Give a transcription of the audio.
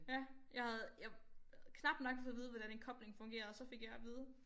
Ja jeg havde jeg knap nok fået at vide hvordan en kobling fungerer så fik jeg at vide